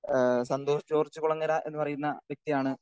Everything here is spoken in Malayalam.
സ്പീക്കർ 2 അഹ് സന്തോഷ് ജോർജ് കുളങ്ങര എന്ന് പറയുന്ന വ്യക്തിയാണ്